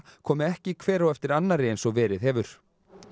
komi ekki hver á eftir annarri eins og verið hefur